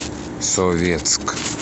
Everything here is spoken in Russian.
советск